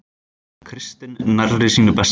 Kristinn nærri sínu besta